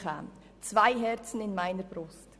Es wohnen zwei Seelen in meiner Brust.